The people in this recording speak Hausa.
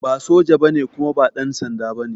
Ba soja ba ne kuma ba ɗansanda ba ne